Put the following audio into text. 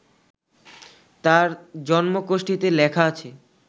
তার জন্মকোষ্ঠিতে লেখা আছে